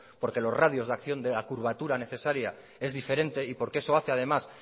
porque los radios de acción de la curvatura necesaria es diferente y porque eso hace además